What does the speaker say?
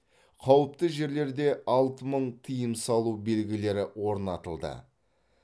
қауіпті жерлерде алты мың тыйым салу белгілері орнатылды